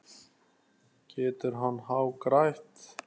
Getur hann hagrætt?